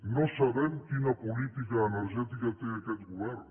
no sabem quina política energètica té aquest govern